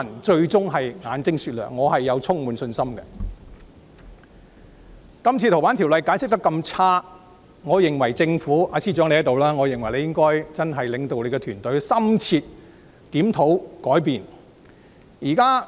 這次《逃犯條例》修訂的解釋工作非常不濟，我認為政府——司長現時也在席——我認為他應領導政府團隊進行深切檢討，改變做事方式。